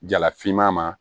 Jala finman ma